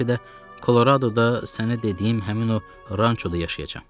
Bəlkə də Koloradoda sənə dediyim həmin o rançoda yaşayacam.